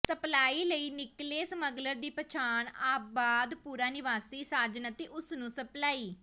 supply ਲਈ ਨਿਕਲੇ smuggler ਦੀ ਪਛਾਣ ਆਬਾਦਪੁਰਾ ਨਿਵਾਸੀ ਸਾਜਨ ਅਤੇ ਉਸ ਨੂੰ ਸਪਲਾਈ